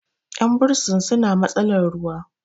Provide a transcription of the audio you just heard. yan bursin suna matsalar ruwa